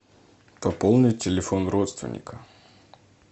пополнить телефон родственника